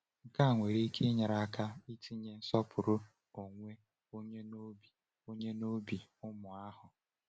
Nke a nwere ike inyere aka itinye nsọpụrụ onwe onye n’obi onye n’obi ụmụ ahụ.